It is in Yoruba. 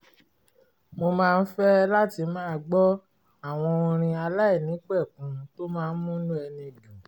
mo máa ń fẹ́ láti máa gbọ́ àwọn orin aláìnípẹ̀kun tó máa ń múnú ẹni dùn